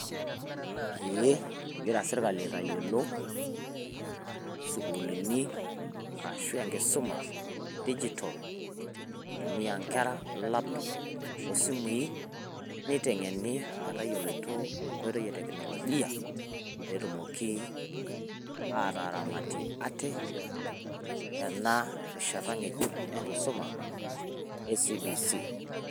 Eeeh egira sirkali aitayiolo sukuulini arashu enkisuma e digital itumia nkera laptop o simui niteng`eni metayiolito enkoitoi e teknolojia pee etumoki aataramatie ate tena rishata ng`ejuk enkisuma e C.B.C.